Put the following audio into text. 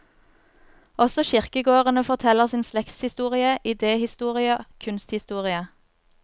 Også kirkegårdene forteller sin slektshistorie, idéhistorie, kunsthistorie.